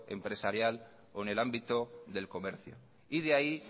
empresarial o en el ámbito del comercio y de ahí